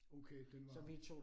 Okay den var